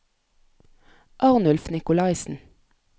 Arnulf Nikolaisen